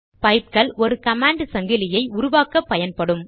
பைப்கள் ஒரு கமாண்ட் சங்கிலியை உருவாக்கப்பயன்படும்